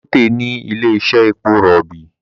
Dangote ní ilè iṣe èpo robi